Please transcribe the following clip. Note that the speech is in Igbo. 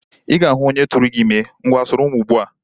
Ị ga-ahu onye turu gi ime. Ngwa soro m ugbu a!